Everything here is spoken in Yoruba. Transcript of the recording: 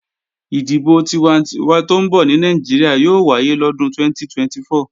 Ìdìbò tiwantinwa tó ń bọ̀ ní Nàìjíríà yóò wáyé lọ́dún 2024